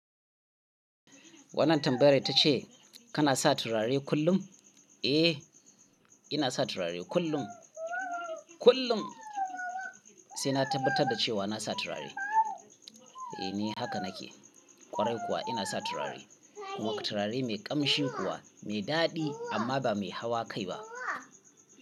Wannan tambayar ta ce, kana sa turare kullum? Eh, ina sa turare kullum. Kullum, sai na tabbatar da cewa na sa turare. Eh ni haka nake. Kwarai kuwa ina sa turare kuma turare mai ƙamshin kuwa mai daɗi amma ba mai hawa kai ba.